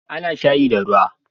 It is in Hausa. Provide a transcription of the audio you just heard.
A na shayi da ruwa